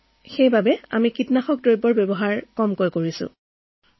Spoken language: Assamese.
গতিকে আমি যিমান পাৰো কম কীটনাশক ব্যৱহাৰ কৰিব লাগিব